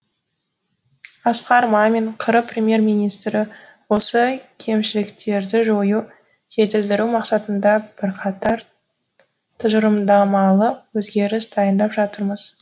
асқар мамин қр премьер министрі осы кемшіліктерді жою жетілдіру мақсатында бірқатар тұжырымдамалық өзгеріс дайындап жатырмыз